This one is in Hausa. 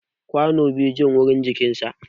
gwano baya Jin warin jikinsa